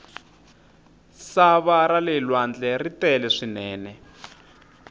sava rale lwandle ri tele swinene